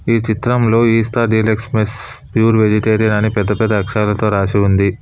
ఈ చిత్రంలో ఇస్తా డీలక్స్ మెస్ ప్యూర్ వెజిటేరియన్ అని పెద్ద పెద్ద అక్షరాలతో రాసి ఉంది.